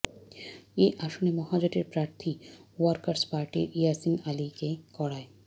এ আসনে মহাজোটের প্রার্থী ওয়ার্কার্স পার্টির ইয়াসিন আলীকে করায়